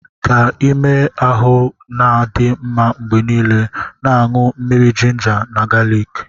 Ka ime ahụ na-adị mma mgbe niile, na-aṅụ mmiri jinja na galiki.